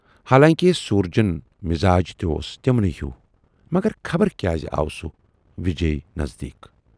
حالانکہِ سوٗرجُن مِزاج تہِ اوس تِمنٕے ہیوٗ مگر خبر کیازِ آو سُہ وِجیایہِ نٔزدیٖک۔